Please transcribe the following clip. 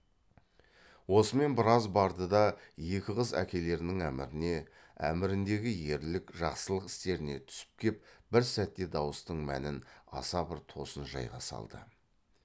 осымен біраз барды да екі қыз әкелерінің әміріне әміріндегі ерлік жақсылық істеріне түсіп кеп бір сәтте дауыстың мәнін аса бір тосын жайға салды